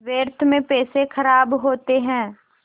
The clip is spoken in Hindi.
व्यर्थ में पैसे ख़राब होते हैं